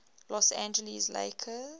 los angeles lakers